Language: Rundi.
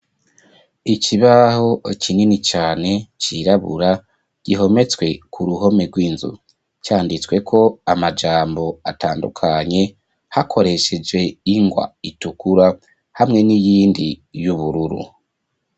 ikibaho kinini cane cirabura gihometswe ku ruhome rw'inzu . Canditsweko ko amajambo atandukanye hakoresheje ingwa itukura hamwe n'iyindi y'ubururu.